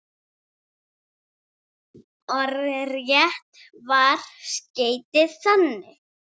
Orðrétt var skeytið þannig